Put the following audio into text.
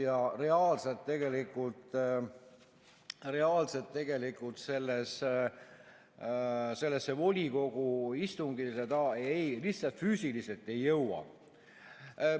Ja reaalselt tegelikult sellele volikogu istungile ta lihtsalt füüsiliselt ei jõua.